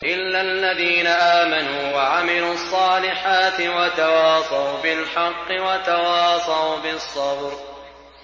إِلَّا الَّذِينَ آمَنُوا وَعَمِلُوا الصَّالِحَاتِ وَتَوَاصَوْا بِالْحَقِّ وَتَوَاصَوْا بِالصَّبْرِ